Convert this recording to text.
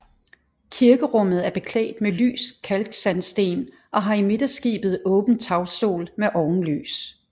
Kirkerummet er beklædt med lys kalksandsten og har i midterskibet åben tagstol med ovenlys